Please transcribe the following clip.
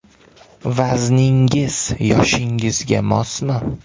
Vazningiz yoshingizga mosmi?.